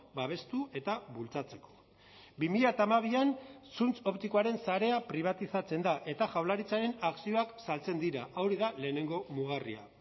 babestu eta bultzatzeko bi mila hamabian zuntz optikoaren sarea pribatizatzen da eta jaurlaritzaren akzioak saltzen dira hori da lehenengo mugarria